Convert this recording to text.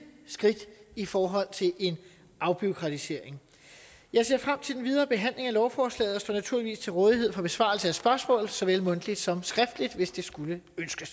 skridt i forhold til en afbureaukratisering jeg ser frem til den videre behandling af lovforslaget og står naturligvis til rådighed for besvarelse af spørgsmål såvel mundtligt som skriftligt hvis det skulle